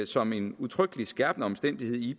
som en udtrykkelig skærpende omstændighed i